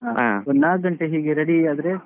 ಒಂದ್ ನಾಕು ಗಂಟೆ ಹೀಗೆ ready ಆದ್ರೆ.